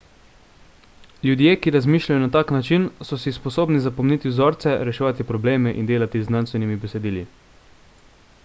ljudje ki razmišljajo na tak način so si sposobni zapomniti vzorce reševati probleme in delati z znanstvenimi besedili